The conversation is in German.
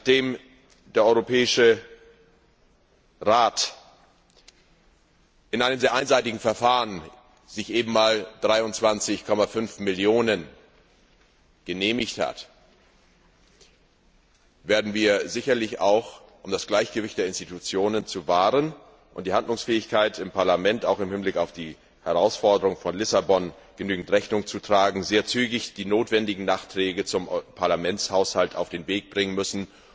Nachdem sich der Europäische Rat in einem sehr einseitigen Verfahren eben mal 23,5 Millionen Euro genehmigt hat, werden wir sicherlich auch, um das Gleichgewicht der Institutionen zu wahren und der Handlungsfähigkeit im Parlament auch im Hinblick auf die Herausforderungen von Lissabon genügend Rechnung zu tragen, sehr zügig die notwendigen Nachträge zum Parlamentshaushalt auf den Weg bringen müssen,